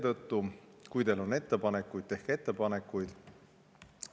Seetõttu, et kui teil on ettepanekuid, siis tehke neid.